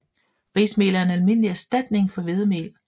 Rismel er en almindelig erstatning for hvedemel